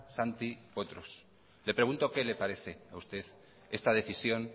santi potros le pregunto qué le parece a usted esta decisión